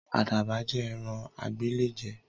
Àdàbà jẹ́ ẹ̀ran agbéléjẹ̀